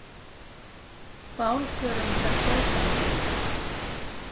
Bálförum fer fjölgandi